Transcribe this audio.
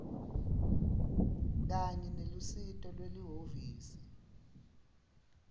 kanye nelusito lwelihhovisi